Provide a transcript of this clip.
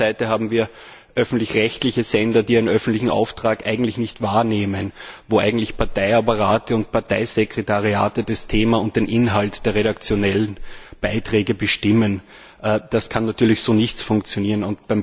Auf der anderen Seite haben wir öffentlich rechtliche Sender, die ihren öffentlichen Auftrag eigentlich nicht wahrnehmen, bei denen Parteiapparate und Parteisekretariate das Thema und den Inhalt der redaktionellen Beiträge bestimmen. Das kann natürlich so nicht funktionieren.